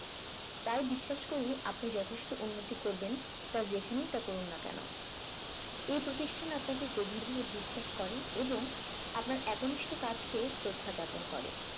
তাই বিশ্বাস করি আপনি যথেষ্ট উন্নতি করবেন তা যেখানেই তা করুন না কেন এই প্রতিষ্ঠান আপনাকে গভীরভাবে বিশ্বাস করে এবং আপনার একনিষ্ঠ কাজকে শ্রদ্ধা যাপন করে